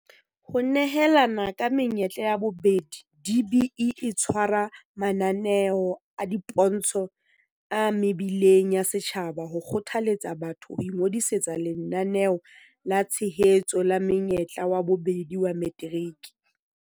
Ho nehelana ka menyetla ya bobedi DBE e tshwara mananeo a dipontsho a mebileng ya setjhaba ho kgothaletsa batho ho ingodisetsa Lenaneo la Tshehetso la Monyetla wa Bobedi wa Materiki.